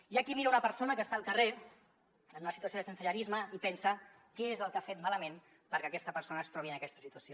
hi ha qui mira una persona que és al carrer en una situació de sensellarisme i pensa què és el que ha fet malament perquè aquesta persona es trobi en aquesta situació